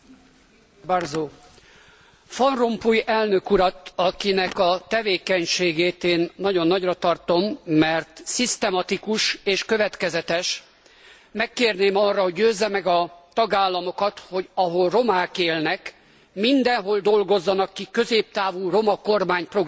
Van Rompuy elnök urat, akinek a tevékenységét én nagyon nagyra tartom, mert szisztematikus és következetes, megkérném arra, hogy győzze meg a tagállamokat, hogy ahol romák élnek, mindenhol dolgozzanak ki középtávú roma kormányprogramokat.